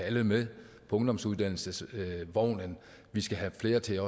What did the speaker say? alle med på ungdomsuddannelsesvognen vi skal have flere til